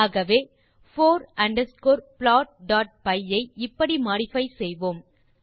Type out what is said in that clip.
ஆகவே for underscore plotபை ஐ இப்படி மோடிஃபை செய்வோம்